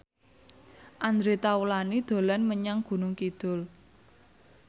Andre Taulany dolan menyang Gunung Kidul